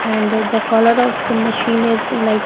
And the color of the machine is like --